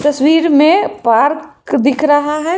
तस्वीर में पार्क दिख रहा है।